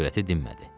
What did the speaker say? Övrəti dinmədi.